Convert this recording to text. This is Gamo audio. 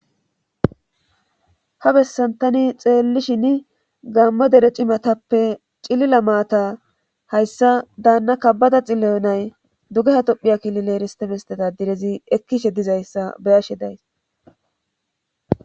ha bessan tani xeellishin gammo dere cimatappe cilila maata hayssa daanna kabbada xillayonay dugeha tophiya kilile eristemestetadirezi ekkishe dizayssa beyashe days